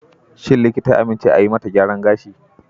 Shin likita ya amince a yi mata gyaran gashi?